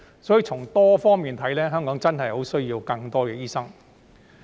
所以，從多方面來看，香港真的十分需要更多醫生。